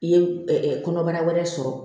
I ye kɔnɔbara wɛrɛ sɔrɔ